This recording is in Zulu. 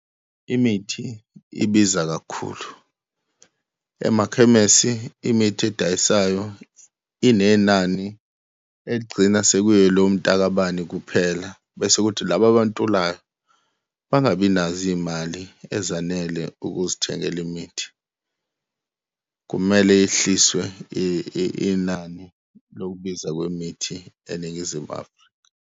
Imithi ibiza kakhulu. Emakhemesi, imithi edayisayo inenani eligcina sekuyelomtakabani kuphela, bese kuthi laba abantulayo bangabi nazo iy'mali ezanele ukuzithengela imithi. Kumele yehliswe inani lokubiza kwemithi eNingizimu Afrika.